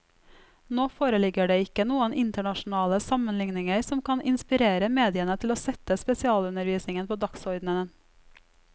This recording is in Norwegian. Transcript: Nå foreligger det ikke noen internasjonale sammenligninger som kan inspirere mediene til å sette spesialundervisningen på dagsordenen.